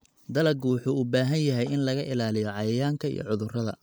Dalaggu wuxuu u baahan yahay in laga ilaaliyo cayayaanka iyo cudurrada.